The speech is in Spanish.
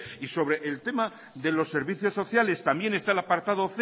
y sobre el tema de los servicios sociales también está el apartado